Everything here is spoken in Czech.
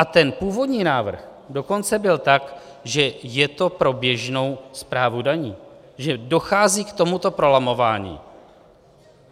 A ten původní návrh dokonce byl tak, že je to pro běžnou správu daní, že dochází k tomuto prolamování.